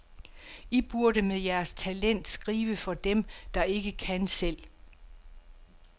I burde med jeres talent skrive for dem, der ikke kan selv.